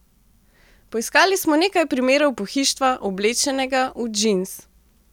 Poiskali smo nekaj primerov pohištva, oblečenega v džins.